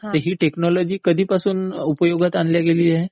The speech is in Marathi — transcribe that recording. ही टेकनॉलॉजी कधीपासून उपयोगात आणलं गेली आहे?